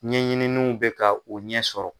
Ɲɛɲininiw bɛ ka u ɲɛ sɔrɔ.